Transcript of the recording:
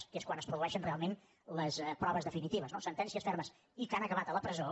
que és quan es produeixen realment les proves definitives no sentències fermes i que han acabat a la presó